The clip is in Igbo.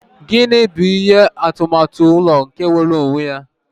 Gini bụ ihe atụmatụ ụlọ nke nwere onwe ya?